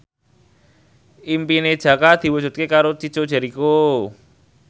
impine Jaka diwujudke karo Chico Jericho